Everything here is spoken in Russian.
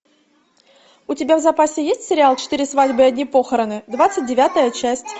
у тебя в запасе есть сериал четыре свадьбы и одни похороны двадцать девятая часть